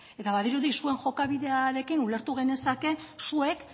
eta badirudi zuen jokabidearekin ulertu genezake zuek